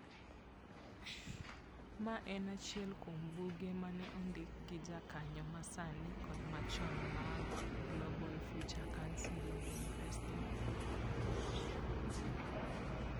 Ma en achiel kuom buge ma ne ondik gi jokanyo ma sani kod machon mag Global Future Council on Investing.